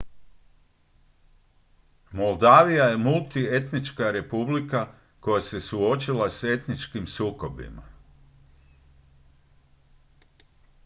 moldavija je multietnička republika koja se suočila s etničkim sukobima